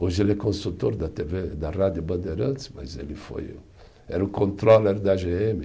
Hoje ele é consultor da tê vê, da Rádio Bandeirantes, mas ele foi, era o controller da gê eme.